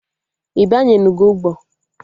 Ị banyenugo ụgbọ?